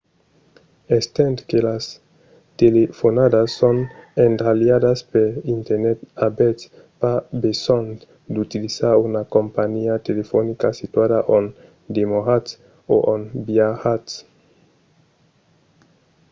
estent que las telefonadas son endralhadas per internet avètz pas besonh d’utilizar una companhiá telefonica situada ont demoratz o ont viatjatz